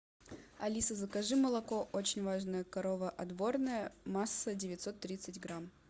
алиса закажи молоко очень важная корова отборное масса девятьсот тридцать грамм